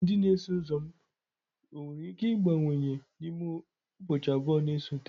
Ndị na-eso ụzọ m nwere ike ịbawanye n'ime ụbọchị abụọ na-esote?